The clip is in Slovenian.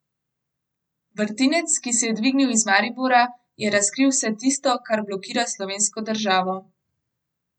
Vrtinec, ki se je dvignil iz Maribora, je razkril vse tisto, kar blokira slovensko državo.